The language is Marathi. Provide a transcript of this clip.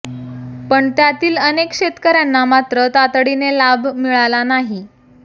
पण त्यातील अनेक शेतकऱयांना मात्र तातडीने लाभ मिळाला नाही